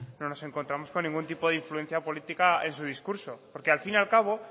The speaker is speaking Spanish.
no nos encontramos con ningún tipo de influencia política en su discurso porque al fin y al cabo